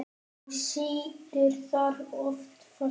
Og situr þar oft fastur.